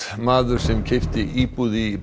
maður sem keypti íbúð